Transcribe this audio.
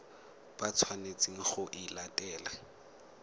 ba tshwanetseng go e latela